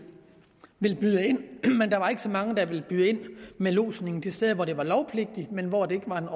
ville byde ind men der var ikke så mange der ville byde ind med lodsning de steder hvor det var lovpligtigt men hvor det ikke var en